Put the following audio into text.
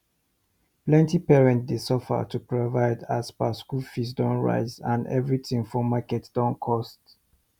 plenty parent dey suffer to provide as per say school fee don rise and everything for market don cost